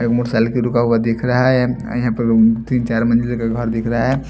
एक मोटरसाइलिक भी रुका हुआ दिख रहा है यहां पर तीन चार मंजिल का घर दिख रहा है।